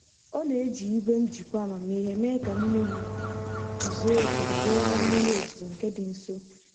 Ọ na-eji igwe njikwa amamihe mee ka mmiri zuo oke dabere na mmiri ozuzo nke dị nso.